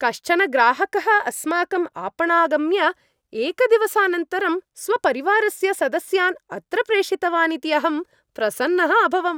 कश्चन ग्राहकः अस्माकम् आपणमागम्य एकदिवसानन्तरं स्वपरिवारस्य सदस्यान् अत्र प्रेषितवान् इति अहं प्रसन्नः अभवम्।